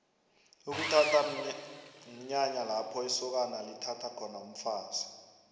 ukuthatha mnyanya lapho isokana lithatha khona umfazi